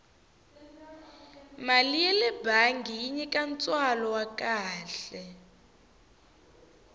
mali yale bangi yi nyika ntswalo wa kahle